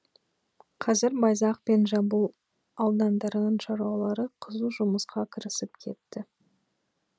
қазір байзақ пен жамбыл аудандарының шаруалары қызу жұмысқа кірісіп кетті